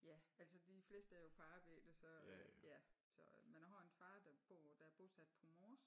Ja altså de fleste er jo på arbejde så ja så men a har en far der bor der er bosat på Mors